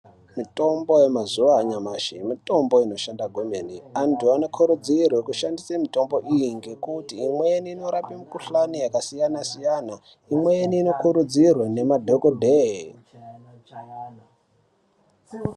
Mitombo yemazuva anyamashi mitombo inoshanda kwemene. Antu anokurudzirwe kushandise mitombo iyi ngekuti imweni inorape mikushani yakasiyana siyana imweni inokurudzirwe nemadhokodheya.